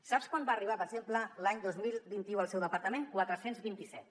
sap quant va arribar per exemple l’any dos mil vint u al seu departament quatre·cents vint·i·set